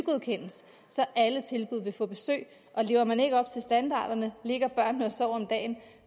så alle tilbud vil få besøg og lever man ikke op til standarderne ligger børnene og sover om dagen